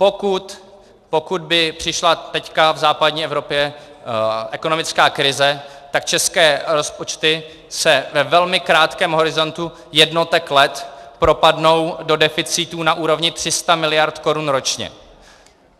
Pokud by přišla teď v západní Evropě ekonomická krize, tak české rozpočty se ve velmi krátkém horizontu jednotek let propadnou do deficitů na úrovni 300 miliard korun ročně.